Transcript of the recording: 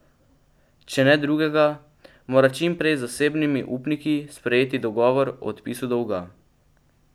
Če ne drugega, mora čim prej z zasebnimi upniki sprejeti dogovor o odpisu dolga.